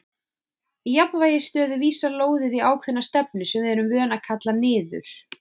Í jafnvægisstöðu vísar lóðið í ákveðna stefnu sem við erum vön að kalla niður.